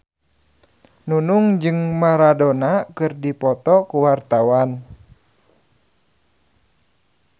Nunung jeung Maradona keur dipoto ku wartawan